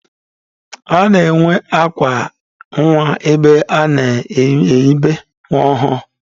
A na-enwe akwa nwa ebe a na-enibe nwa ọhụrụ.